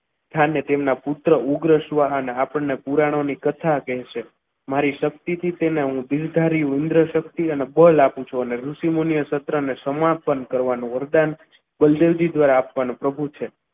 સ્થાને પુત્ર શાહના આપણને પુરાણોની કથા કહે છે મારી શક્તિથી તેને હું દિલધારી વૃંદશક્તિ અને બળ આપું છું અને ઋષિમુનિ એ સત્રને સમાપન કરવાનું વરદાન બલદેવ જી દ્વારા આપવાનું પ્રભુ છે.